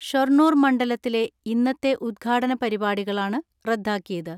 ഷൊർണൂർ മണ്ഡലത്തിലെ ഇന്നത്തെ ഉദ്ഘാടന പരിപാടികളാണ് റദ്ദാക്കിയത്.